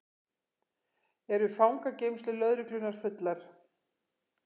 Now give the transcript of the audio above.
Eru fangageymslur lögreglunnar fullar